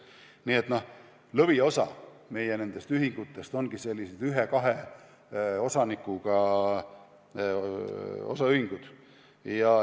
Nii et lõviosa meie ühingutest ongi sellised ühe-kahe osanikuga osaühingud.